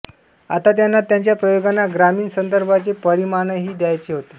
आता त्यांना त्यांच्या प्रयोगांना ग्रामीण संदर्भांचे परिमाणही द्यायचे होते